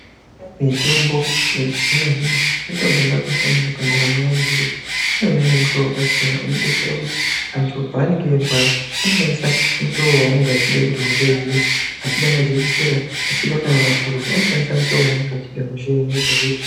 Mitombo yechizvino-zvino mitombo yakakosha maningi pandaramo antu ngekuti unoshanda nemutoo wakasiyana inodetsera kuti antu paanenga echirwara anoshandisa mutoo wanenge achida kuti hosha ipere kana echida majekisera kana mapirizi anoshandisa motoo wanenge achida.